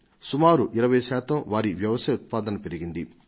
సుమారు 20 శాతం వారి వ్యవసాయ ఉత్పాదన పెరిగింది